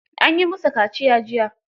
An yi musu kaciya jiya.